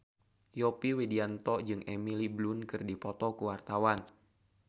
Yovie Widianto jeung Emily Blunt keur dipoto ku wartawan